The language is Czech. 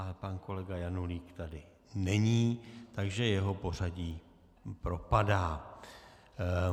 Ale pan kolega Janulík tady není, takže jeho pořadí propadá.